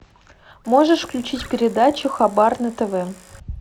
можешь включить передачу хабар на тв